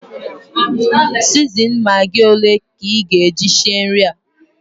Sizinin magị ole ka ị ga-eji sie nri a?